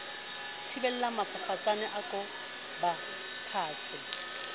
thibelang mafafatsane a ko bapatse